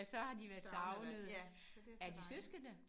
Savnet det ja så det så dejligt